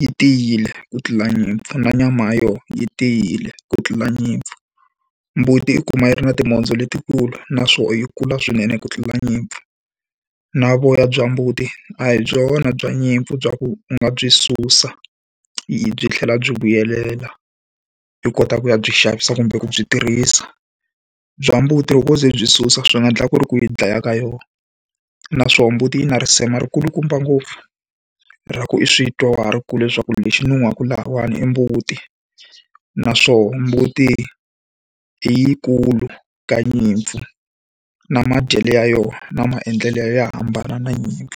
yi tiyile ku tlula nyimpfu na nyama ya yona yi tiyile ku tlula nyimpfu. Mbuti i kuma yi ri na timhondzo letikulu naswoho yi kula swinene ku tlula nyimpfu. Na voya bya mbuti, a hi byona bya nyimpfu bya ku u nga byi susa hi byi tlhela byi vuyelela i kota ku ya byi xavisa kumbe ku byi tirhisa. Bya mbuti loko wo ze u byi susa swi nga endleka ku ri ku yi dlaya ka yona. Naswona mbuti yi na risema rikulukumba ngopfu, ra ku i swi twa wa ha ri kule leswaku lexi nuhaka lahawani i mbuti. Naswoho mbuti i yi kulu ka nyimpfu, na madyele ya yona, na maendlelo ya yona ya hambana na nyimpfu.